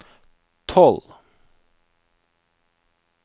tolv